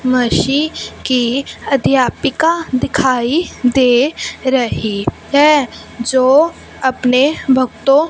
मशी की अध्यापिका दिखाई दे रही है जो अपने भक्तों--